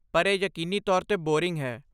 ਪਰ ਇਹ ਯਕੀਨੀ ਤੌਰ 'ਤੇ ਬੋਰਿੰਗ ਹੈ।